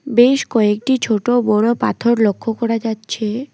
বেশ কয়েকটি ছোট-বড় পাথর লক্ষ করা যাচ্ছে।